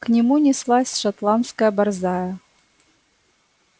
к нему неслась шотландская борзая